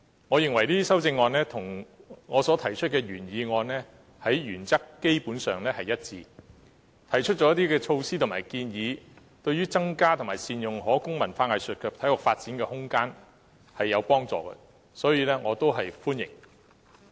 我認為這些修正案與我所提出的原議案基本上原則一致，亦提出了措施及建議，對於增加及善用可供文化藝術及體育發展的空間，是有幫助的，所以我表示歡迎。